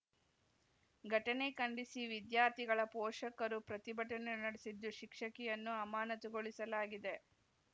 ಘಟನೆ ಖಂಡಿಸಿ ವಿದ್ಯಾರ್ಥಿಗಳ ಪೋಷಕರು ಪ್ರತಿಭಟನೆ ನಡೆಸಿದ್ದು ಶಿಕ್ಷಕಿಯನ್ನು ಅಮಾನತುಗೊಳಿಸಲಾಗಿದೆ